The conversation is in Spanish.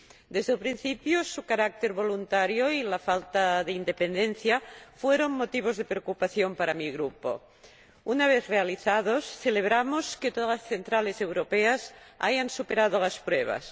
Desde el principio, su carácter voluntario y la falta de independencia fueron motivos de preocupación para mi Grupo. Una vez realizadas, celebramos que todas las centrales europeas hayan superado las pruebas.